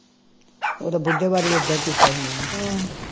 ਉਹ ਤਾਂ ਬੁੱਢੇ ਵਾਰੀ ਵੀ ਇੱਦਾਂ ਹੀ ਕੀਤਾ ਇਨ੍ਹਾਂ ਨੇ